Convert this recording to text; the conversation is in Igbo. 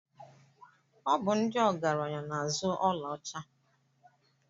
Ọ bụ ndị ọgaranya na-azụ ọlaọcha.